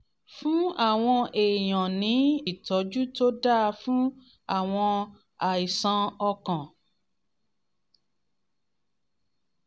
fún àwọn èèyàn ní ìtọ́jú tó dáa fún àwọn àìsàn ọkàn